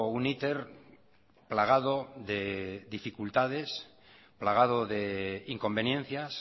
un iter plagado de dificultades plagado de inconveniencias